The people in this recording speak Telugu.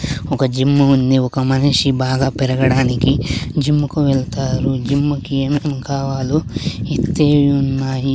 ఒక జిమ్ము ఉంది ఒక మనిషి బాగా పెరగడానికి జిమ్ముకు వెళ్తారు జిమ్ కి ఏమేం కావాలో ఇత్తే ఉన్నాయి.